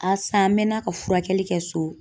A san, an mɛnna ka furakɛli kɛ so.